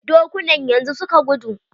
Dokunan yanzu suka gudu.